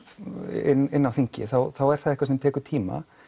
inn á þing þá er það eitthvað sem tekur tíma